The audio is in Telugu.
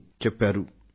అంటూ ఆయన చెప్పుకొచ్చారు